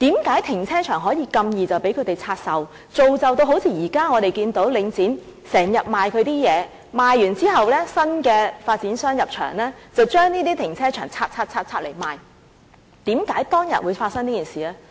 為何停車場如此容易便可以拆售，造就現時我們看到領展經常出售其資產，而在出售後，新的發展商在入場後便把停車場分拆、分拆、分拆，然後出售的情況？